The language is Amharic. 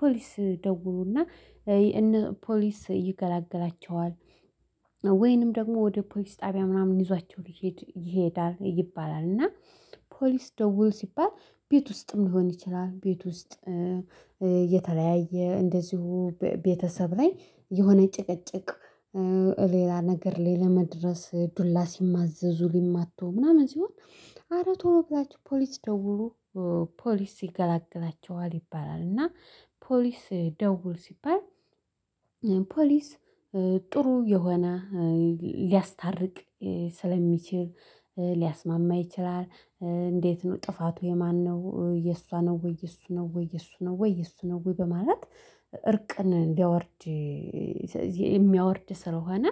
ፖሊስ ደውሉና። ፖሊስ ይገላግላቸዋል ወይንም ደግሞ ወደ ፖሊስ ጣቢያ ምናምን ይዟቸው ሊሄድ ይሄዳል ይባላል እና። ፖሊስ ደውል ሲባል ቤት ውስጥም ሊሆን ይችላል ቤት ውስጥ የተለያየ እንደዚሁ ቤተሰብ ላይ የሆነ ጭቅጭቅ። ሌላ ነገር ሌላ መድረስ ዱላ ሲማዘዙ ሊማቱ ምናምን ሲሆን አረ ቶሎ ብላችሁ ፖሊስ ደውሉ ፖሊስ ይገላግላቸዋል ይባላል እና። ፖሊስ ደውል ሲባል ፖሊስ ጥሩ የሆነ ሊያስታርቅ ስለሚችል ሊያስማማ ይችላል። እንዴት ነው ጥፋቱ የማነው የእሷ ነው ወይ የእሱ ነው ወይ የእሱ ነው ወይ የእሱ ነው ወይ? በማለት እርቅን እንዲያወርድ የሚያወርድ ስለሆነ።